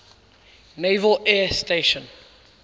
naval air station